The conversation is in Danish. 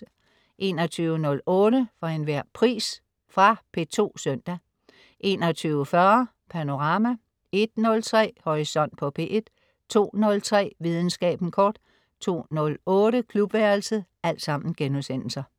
21.08 For enhver pris.* Fra P2 søndag 21.40 Panorama* 01.03 Horisont på P1* 02.03 Videnskaben kort* 02.08 Klubværelset*